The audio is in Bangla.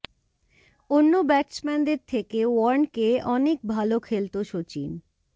অন্য ব্যাটসম্যান দের থেকে ওয়ার্নকে অনেক ভাল খেলত সচিন